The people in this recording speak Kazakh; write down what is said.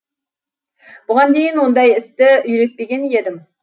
бұған дейін ондай істі үйретпеген едім